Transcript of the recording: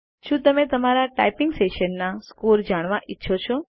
શું તમે તમારા ટાઈપીંગ સેશનના સ્કોર્સ જાણવા ઈચ્છો છો